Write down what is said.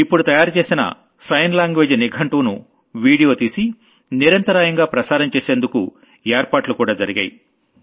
ఇప్పుడు తయారు చేసిన సైన్ లాంగ్వేజ్ డిక్ష్నరీని వీడియో తీసి నిరంతరాయంగా ప్రసారం చేసేందుకు ఏర్పాట్లు కూడా జరిగాయి